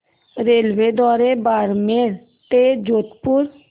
रेल्वेद्वारे बारमेर ते जोधपुर